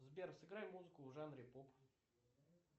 сбер сыграй музыку в жанре поп